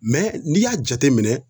n'i y'a jateminɛ